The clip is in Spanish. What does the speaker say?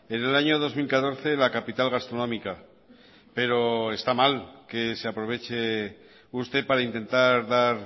en el año dos mil catorce la capital gastronómica pero está mal que se aproveche usted para intentar dar